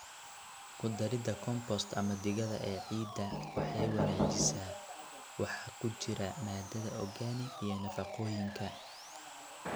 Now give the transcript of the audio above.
Ku darida compost ama digada ee ciidda waxay wanaajisaa waxa ku jira maadada organic iyo nafaqooyinka.